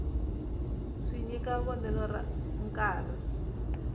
swi nyika vonelo ra nkarhi